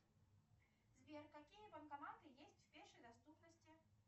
сбер какие банкоматы есть в пешей доступности